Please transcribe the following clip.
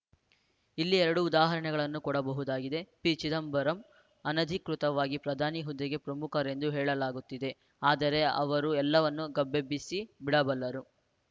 ಇಲ್ಲಿ ಎರಡು ಉದಾಹರಣೆಗಳನ್ನು ಕೊಡಬಹುದಾಗಿದೆ ಪಿಚಿದಂಬರಂ ಅನಧಿಕೃತವಾಗಿ ಪ್ರಧಾನಿ ಹುದ್ದೆಗೆ ಪ್ರಮುಖರೆಂದು ಹೇಳಲಾಗುತ್ತಿದೆ ಆದರೆ ಅವರು ಎಲ್ಲವನ್ನೂ ಗಬ್ಬೆಬ್ಬಿಸಿಬಿಡಬಲ್ಲರು